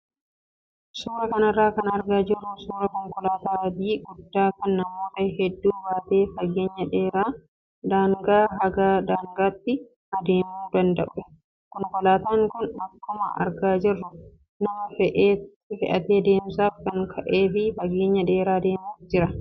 Suuraa kanarraa kan argaa jirru suuraa konkolaataa adii guddaa kan namoota hedduu baatee fageenya dheeraa daangaa haga daangaatti adeemuudanda'udha. Konkolaataan kun akkuma argaa jirru nama fe'atee deemsaaf kan ka'ee fi fageenya dheeraa deemuuf jira.